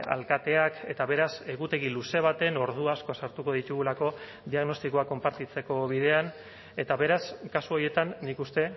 alkateak eta beraz egutegi luze baten ordu asko sartuko ditugulako diagnostikoa konpartitzeko bidean eta beraz kasu horietan nik uste